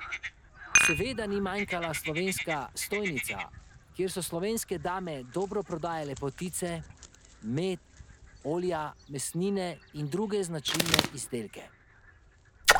Seveda ni manjkala slovenska stojnica, kjer so slovenske dame dobro prodajale potice, med, olja, mesnine in druge značilne izdelke.